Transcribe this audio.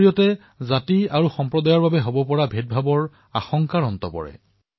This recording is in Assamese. ইয়াৰ দ্বাৰা জাতি আৰু সম্প্ৰদায়ৰ ভিত্তিত হোৱা ভেদভাৱসমূহ নোহোৱা হৈ পৰিছিল